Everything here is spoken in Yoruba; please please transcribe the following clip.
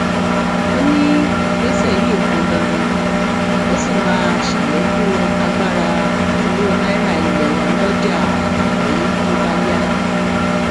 ó ní ìgbésẹ yìí pọn dandan ó sì máa ṣàlékún agbára owó náírà ilé wa lọjà àgbáyé tó bá yá